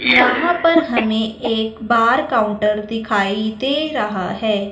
यहां पर हमें एक बार काउंटर दिखाई दे रहा है।